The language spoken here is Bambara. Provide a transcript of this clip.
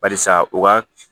Barisa u ka